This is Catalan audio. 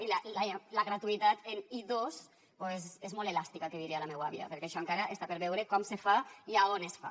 i la gratuïtat en i2 és molt elàstica que diria la meva àvia perquè això encara està per veure com se fa i a on es fa